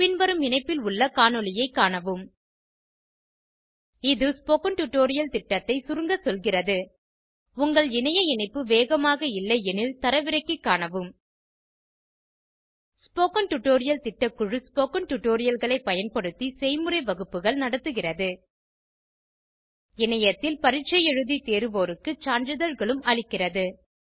பின்வரும் இணைப்பில் உள்ள காணொளியைக் காணவும் இது ஸ்போகன் டுடோரியல் திட்டத்தை சுருங்க சொல்கிறது உங்கள் இணைய இணைப்பு வேகமாக இல்லையெனில் தரவிறக்கி காணவும் ஸ்போகன் டுடோரியல் திட்டக்குழு ஸ்போகன் டுடோரியல்களை பயன்படுத்தி செய்முறை வகுப்புகள் நடத்துகிறது இணையத்தில் பரீட்சை எழுதி தேர்வோருக்கு சான்றிதழ்களும் அளிக்கிறது